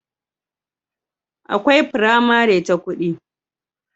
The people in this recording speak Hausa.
akwai pramari ta kudi